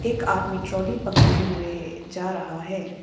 एक आदमी ट्राली पकड़े हुए जा रहा है।